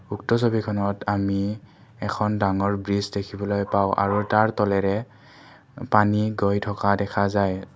উক্ত ছবিখনত আমি এখন ডাঙৰ ব্ৰিজ দেখিবলৈ পাওঁ আৰু তাৰ তলেৰে পানী গৈ থকা দেখা যায়।